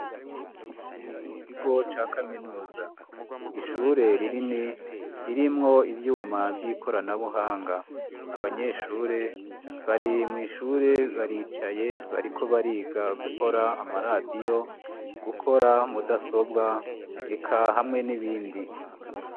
Mu kigo ca kaminuza ishure ririni ririmwo ivyuma vy'ikoranabuhanga abanyeshure bari mw'ishure baricaye bariko bariga gukora amaradiyo gukora mudasobwa eka hamwe n'ibindi.